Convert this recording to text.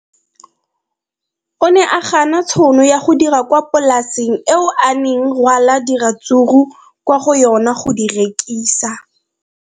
O ne a gana tšhono ya go dira kwa polaseng eo a neng rwala diratsuru kwa go yona go di rekisa.